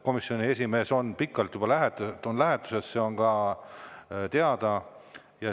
Komisjoni esimees on juba pikalt lähetuses, see on ka teada.